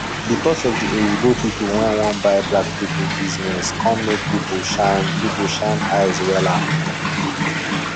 because of di oyinbo people wey wan buy black people business come make people shine people shine eyes wella